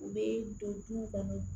U bɛ don duw kɔnɔ